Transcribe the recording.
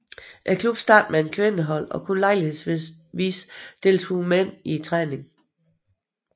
Klubben startede med et kvindehold og kun lejlighedsvis deltog mænd i træningen